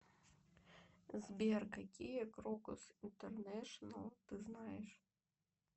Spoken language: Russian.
сбер какие крокус интернешнл ты знаешь